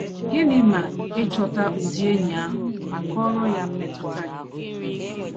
Gịnị ma ị chọta ụdị enyi ahụ ma kọọrọ ya mmetụta gị?